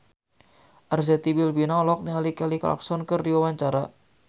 Arzetti Bilbina olohok ningali Kelly Clarkson keur diwawancara